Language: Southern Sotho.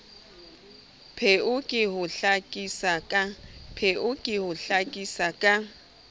pheo ke ho hlakisa ka